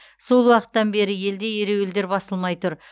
сол уақыттан бері елде ереуілдер басылмай тұр